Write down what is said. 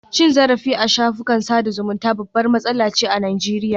Cin zarafi a shafukan sada zumunta babbar matsala ce a Najeriya